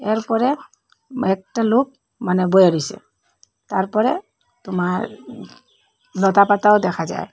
blur করা একটা লোক মানে বইয়া রইসে তারপরে তোমার লতাপাতাও দেখা যার